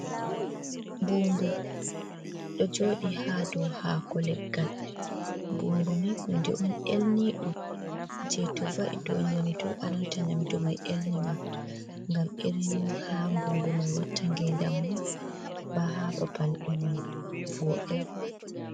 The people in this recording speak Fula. Mbumbu ɗo jooɗi ha dou hako leggal, mbumbu ni hunde on elni ɗum, je to va’i ɗo nyamdu elnata nyamdu mai elni ma, gam irin ha mbumbu mai watta ngendam mum ba ha babal dum vodai